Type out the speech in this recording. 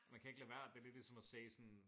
Man kan ikke lade være det lidt ligesom at se sådan